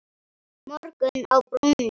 Morgunn á brúnni